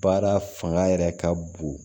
Baara fanga yɛrɛ ka bon